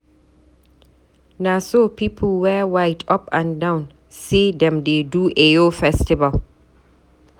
Na so people wear white up and down sey dem dey do Eyo festival.